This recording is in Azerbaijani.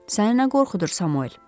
Səni nə qorxudur, Samuel?